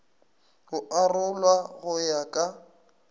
go arolwa go ya ka